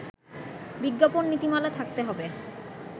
বিজ্ঞাপন নীতিমালা থাকতে হবে